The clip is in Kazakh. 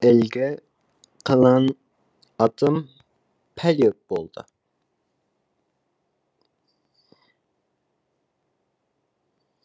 әлгі қылаң атым пәле болды